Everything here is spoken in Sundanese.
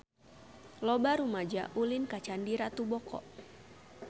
Loba rumaja ulin ka Candi Ratu Boko